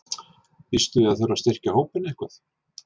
Býstu við að þurfa að styrkja hópinn eitthvað?